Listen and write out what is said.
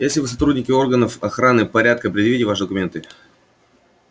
если вы сотрудники органов охраны порядка предъявите ваши документы